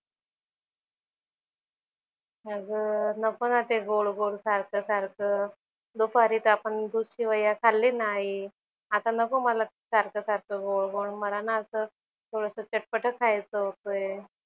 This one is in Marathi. अगं नको ना ते गोड गोड सारखं सारखं. दुपारीच आपण दूधशेवया खालली ना आई. आता नको मला सारखं सारखं गोड गोड. मला ना असं थोडंसं चटपटं खायचं होतंय.